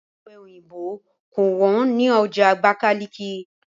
Ọ̀pe òyìnbó kò wọ́n ní ọjà Abakaliki